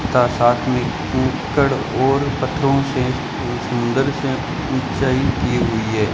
सा साथ में ईकड़ और पत्थरों से सु सुंदर से ऊंचाई की हुई है।